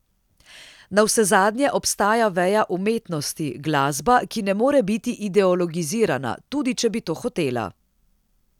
Navsezadnje obstaja veja umetnosti, glasba, ki ne more biti ideologizirana, tudi če bi to hotela.